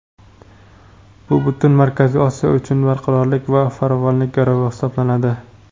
bu butun Markaziy Osiyo uchun barqarorlik va farovonlik garovi hisoblanadi.